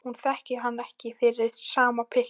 Hún þekkir hann ekki fyrir sama pilt og áður.